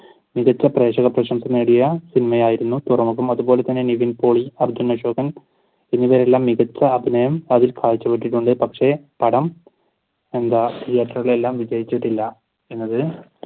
മികച്ച പ്രേക്ഷക പ്രശംസ നേടിയ സിനിമായായിരുന്നു തുറമുഖം അതുപോലെതന്നെ നിവിൻ പോളി അർജുൻ അശോകൻ ഇവരെല്ലാം മികച്ച അഭിനയം കാഴ്ചവെക്കുന്നുണ്ട് പക്ഷെ പടം എന്താ തിയേറ്ററിൽ വിജയിച്ചിട്ട് ഇല്ല എന്നത്